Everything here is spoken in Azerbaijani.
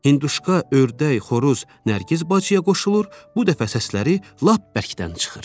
Hündüşka, ördək, xoruz Nərgiz bacıya qoşulur, bu dəfə səsləri lap bərkdən çıxır.